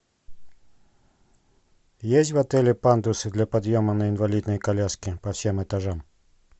есть в отеле пандусы для подъема на инвалидной коляске по всем этажам